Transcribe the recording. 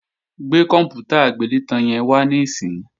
Gbé kòǹpútà agbélétan yẹn wá níìsín!